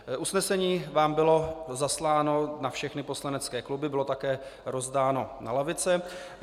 Usnesení vám bylo zasláno na všechny poslanecké kluby, bylo také rozdáno na lavice.